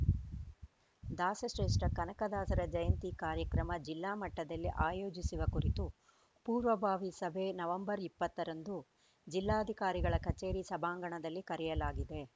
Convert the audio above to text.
ದಾಸ ಶ್ರೇಷ್ಠ ಕನಕದಾಸರ ಜಯಂತಿ ಕಾರ್ಯಕ್ರಮ ಜಿಲ್ಲಾ ಮಟ್ಟದಲ್ಲಿ ಆಯೋಜಿಸುವ ಕುರಿತು ಪೂರ್ವಭಾವಿ ಸಭೆ ನವೆಂಬರ್ ಇಪ್ಪತ್ತರಂದು ಜಿಲ್ಲಾಧಿಕಾರಿಗಳ ಕಚೇರಿ ಸಭಾಂಗಣದಲ್ಲಿ ಕರೆಯಲಾಗಿದೆ